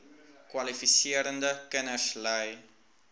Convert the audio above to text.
kwalifiserende kinders ly